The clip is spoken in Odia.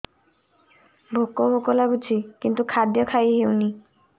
ଭୋକ ଭୋକ ଲାଗୁଛି କିନ୍ତୁ ଖାଦ୍ୟ ଖାଇ ହେଉନି